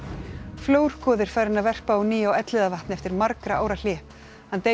flórgoði er farinn að verpa á ný á Elliðavatni eftir margra ára hlé hann deilir